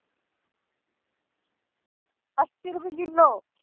ਅੱਸੀ ਰੁਪਏ ਕਿੱਲੋ।